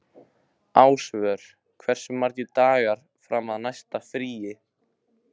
Ásvör, hversu margir dagar fram að næsta fríi?